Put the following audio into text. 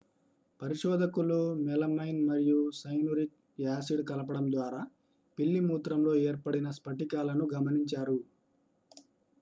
పరిశోధకులు మెలమైన్ మరియు cyanuric acid కలపడం ద్వారా పిల్లి మూత్రంలో ఏర్పడిన స్పటికాలను గమనించారు